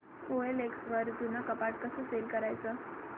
OLX वर जुनं कपाट सेल कसं करायचं